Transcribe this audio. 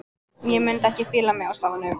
Ég mundi ekki fíla mig á staðnum.